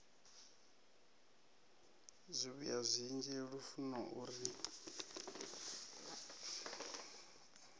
zwivhuya zwinzhi lufuno u ri